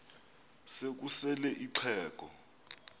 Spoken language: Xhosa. se kusel ixheg